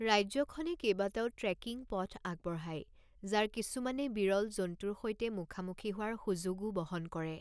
ৰাজ্যখনে কেইবাটাও ট্ৰেকিং পথ আগবঢ়ায়, যাৰ কিছুমানে বিৰল জন্তুৰ সৈতে মুখামুখি হোৱাৰ সুযোগও বহন কৰে।